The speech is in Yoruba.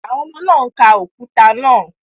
Àwọn ọmọ náà ń ka òkúta náà